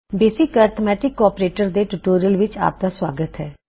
basic arithmetic operators ਦੇ tutorial ਵਿੱਚ ਆਪ ਦਾ ਸੁਆਗਤ ਹੈ